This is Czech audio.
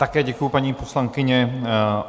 Také děkuji, paní poslankyně.